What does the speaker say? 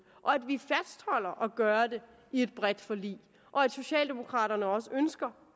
og at gøre det i et bredt forlig og at socialdemokraterne også ønsker